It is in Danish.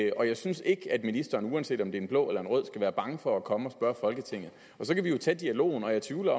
og jeg synes ikke at ministeren uanset om det er en blå eller en rød skal være bange for at komme og spørge folketinget så kan vi jo tage dialogen og jeg tvivler